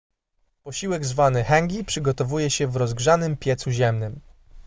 posiłek zwany hangi przygotowuje się w rozgrzanym piecu ziemnym